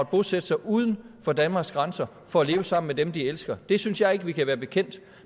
bosætte sig uden for danmarks grænser for at leve sammen med dem de elsker det synes jeg ikke vi kan være bekendt